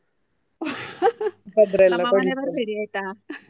ನಮ್ಮ ಮನೆ ಬರ್ಬೇಡಿ ಆಯ್ತಾ?